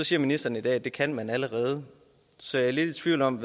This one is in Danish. siger ministeren at det kan man allerede så jeg er lidt tvivl om